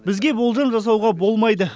бізге болжам жасауға болмайды